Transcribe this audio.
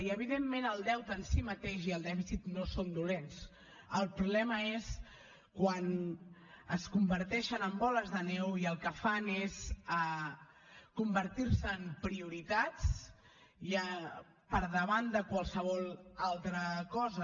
i evidentment el deute en si mateix i el dèficit no són dolents el problema és quan es converteixen en boles de neu i el que fan és convertir se en prioritats per davant de qualsevol altra cosa